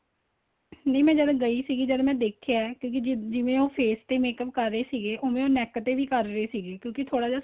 ਨਹੀਂ ਮੈਂ ਜਦ ਗਈ ਸੀ ਜਦ ਮੈਂ ਦੇਖਿਆ ਏ ਕੀ ਜਿਵੇਂ ਉਹ face ਤੇ makeup ਕਰ ਰਹੇ ਸੀਗੇ ਉਹ ਵੇ ਉਹ neck ਤੇ ਵੀ ਕਰ ਰਹੇ ਸੀਗੇ ਕਿਉਂਕਿ ਥੋੜਾ ਜਾ